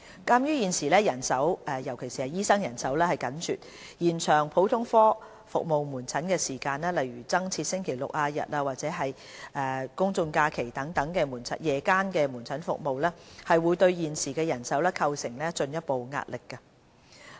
鑒於現時人手，尤其是醫生人手緊絀，延長普通科門診服務時間，例如增設星期六、日及公眾假期夜間門診服務，會對現時人手構成進一步壓力。